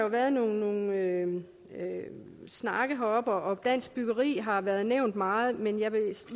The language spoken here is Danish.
været nogle snakke heroppe og dansk byggeri har været nævnt meget men jeg